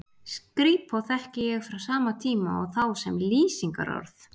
skrípó þekki ég frá sama tíma og þá sem lýsingarorð